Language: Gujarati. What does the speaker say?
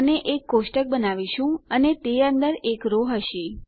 અને એક કોષ્ટક બનાવીશું અને તે અંદર એક રો હશે